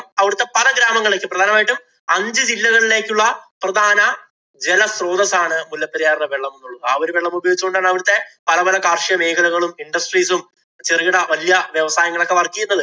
അവിടത്തെ പല ഗ്രാമങ്ങളിലേക്കും, പ്രധാനമായിട്ടും അഞ്ചു ജില്ലകളിലേക്കുള്ള പ്രധാന ജലസ്രോതസ്സാണ് മുല്ലപ്പെരിയാറിലെ വെള്ളം എന്നുള്ളത്. ആ ഒരു വെള്ളം ഉപയോഗിച്ച് കൊണ്ടാണ് അവരുടെ പല പല കാര്‍ഷിക മേഖലകളും, industries ഉം, ചെറുകിട വല്യ വ്യവസായങ്ങളും ഒക്കെ work ചെയ്യുന്നത്.